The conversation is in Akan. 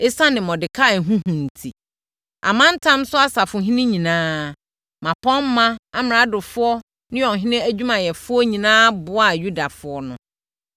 Esiane Mordekai ho hu enti, amantam so asafohene nyinaa, mmapɔmma, amradofoɔ ne ɔhene adwumayɛfoɔ nyinaa boaa Yudafoɔ no.